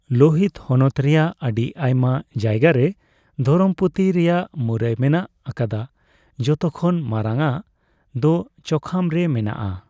ᱞᱳᱦᱤᱛ ᱦᱚᱱᱚᱛ ᱨᱮᱭᱟᱜ ᱟᱹᱰᱤ ᱟᱭᱢᱟ ᱡᱟᱭᱜᱟᱨᱮ ᱫᱷᱚᱨᱚᱢ ᱯᱩᱛᱷᱤ ᱨᱮᱭᱟᱜ ᱢᱩᱨᱟᱹᱭ ᱢᱮᱱᱟᱜ ᱟᱠᱟᱫᱟ, ᱡᱷᱚᱛᱚ ᱠᱷᱚᱱ ᱢᱟᱨᱟᱝᱼᱟᱜ ᱫᱚ ᱪᱳᱠᱷᱟᱢ ᱨᱮ ᱢᱮᱱᱟᱜᱼᱟ ᱾